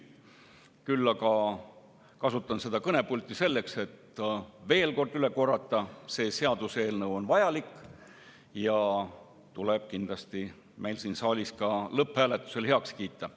Küll aga kasutan seda kõnepulti selleks, et veel üle korrata, et see seaduseelnõu on vajalik ja tuleb kindlasti siin saalis lõpphääletusel heaks kiita.